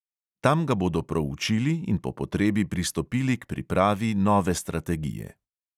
Tam ga bodo proučili in po potrebi pristopili k pripravi nove strategije.